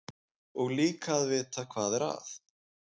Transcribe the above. Og líka að vita hvað er að.